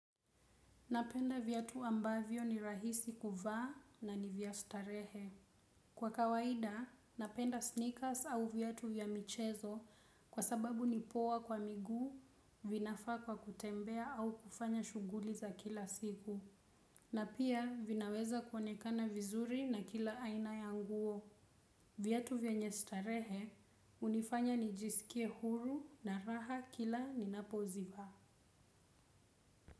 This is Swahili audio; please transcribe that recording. Napenda viatu ambavyo ni rahisi kuvaa na ni vya starehe. Kwa kawaida, napenda sneakers au viatu vya michezo kwa sababu ni poa kwa miguu vinafaa kwa kutembea au kufanya shughuli za kila siku. Na pia vinaweza kuonekana vizuri na kila aina ya nguo. Viatu vyenye starehe hunifanya nijiskie huru na raha kila ninapo zivaa.